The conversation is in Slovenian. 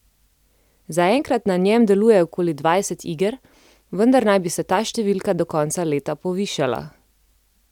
Zaenkrat na njem deluje okoli dvajset iger, vendar naj bi se ta številka do konca leta povišala.